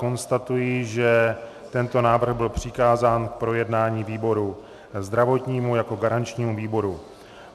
Konstatuji, že tento návrh byl přikázán k projednání výboru zdravotnímu jako garančnímu výboru.